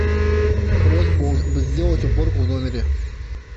просьба сделать уборку в номере